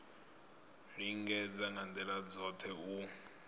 lingedza nga ndila dzothe u